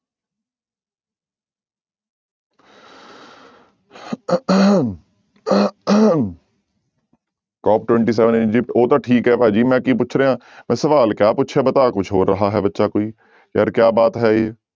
COP twenty seven ਉਹ ਤਾਂ ਠੀਕ ਹੈ ਭਾਜੀ ਮੈਂ ਕੀ ਪੁੱਛ ਰਿਹਾਂ, ਮੈਂ ਸਵਾਲ ਕਿਆ ਪੁੱਛਿਆ ਬਤਾ ਕੁਛ ਹੋਰ ਰਹਾ ਹੈ ਬੱਚਾ ਕੋਈ, ਯਾਰ ਕਿਆ ਬਾਤ ਹੈ ਇਹ।